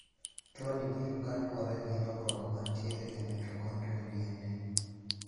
Tuoni biro kaluwore gi lokruok mantiere e mitochondrial DNA.